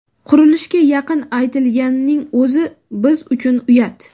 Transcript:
Qurilishga yaqin aytilganining o‘zi biz uchun uyat.